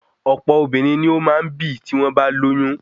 Ọ̀pọ obìnrin ni o maá ǹ bì tí wọ́n bá lóyún